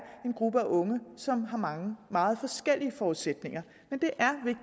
en gruppe af unge som har meget meget forskellige forudsætninger men